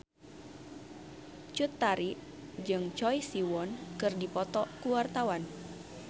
Cut Tari jeung Choi Siwon keur dipoto ku wartawan